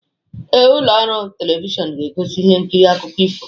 Ee, ụlọ ọrụ telivishọn ga-egosi ihe nkiri akụkọ ifo